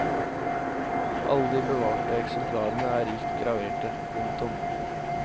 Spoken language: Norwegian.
Alle de bevarte eksemplarene er rikt graverte. punktum